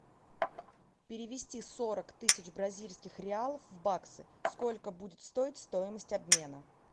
перевести сорок тысяч бразильских реалов в баксы сколько будет стоить стоимость обмена